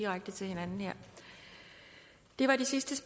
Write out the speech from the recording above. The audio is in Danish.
og så videre